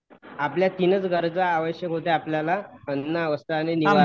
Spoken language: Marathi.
आपल्या तिनच गरजा आवश्यक होत्या आपल्याला अन्न, वस्त्र आणि निवारा.